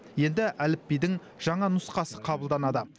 енді әліпбидің жаңа нұсқасы қабылданады